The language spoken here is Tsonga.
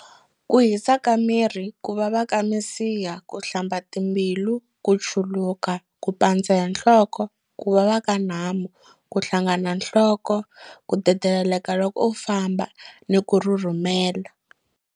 Ku hisa ka miri, ku vava ka misiha, ku hlamba timbilu, ku chuluka, ku pandza hi nhloko, ku vava ka nhamu, ku hlangana nhloko, ku dedeleka loko u famba ni ku rhurhumela.